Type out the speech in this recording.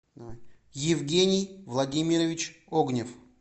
евгений владимирович огнев